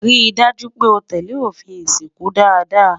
rí dájú pé o tẹlẹ òfin ìsìnkú dada